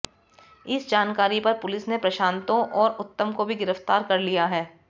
इस जानकारी पर पुलिस ने प्रशांतो और उत्तम को भी गिरफ्तार कर लिया है